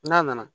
N'a nana